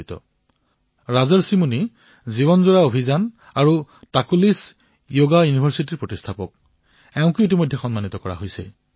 তেওঁ life mission আৰু লাকুলিশ্ব যোগ বিশ্ববিদ্যালয়ৰ স্থাপনা কৰিছে